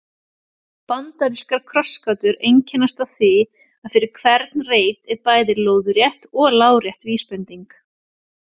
Bandarískar krossgátur einkennast af því að fyrir hvern reit er bæði lóðrétt og lárétt vísbending.